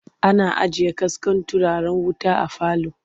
Ana ajiye kaskon turaren wuta a falo.